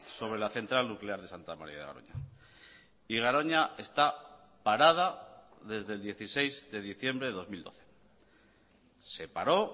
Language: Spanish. sobre la central nuclear de santa maría de garoña y garoña está parada desde el dieciséis de diciembre de dos mil doce se paró